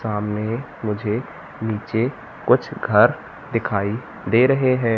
सामने मुझे नीचे कुछ घर दिखाई दे रहे है।